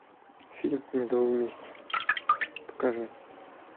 фильм медовый месяц покажи